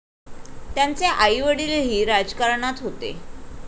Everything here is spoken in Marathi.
त्यांचे आई वडीलही राजकारणात होते.